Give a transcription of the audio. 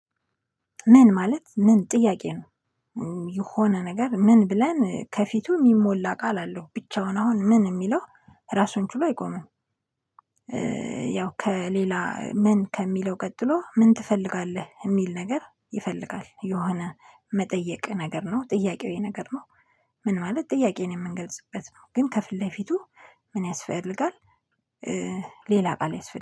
ምን ማለት ምን ጥያቄ ነው የሆነ ነገር ምን ብለን ከፊቱ የሚሞላ ቃል አለው ብቻውን አሁን ምን የሚለው ራሱን ችሎ አይቆምም። ያው ከሌላ ምን ከሚለው ቀጥሎ ምን ትፈልጋለህ የሚል ነገር ይፈልጋል የሆነ መጠየቅ ነገር ነው ጥያቄዊ ነገር ነው። ምን ማለት ጥያቄን የምንገልጽበት ነው ግን ከፊት ለፊቱ ምን ያስፈልጋል። ሌላ ቃል ያስፈልጋል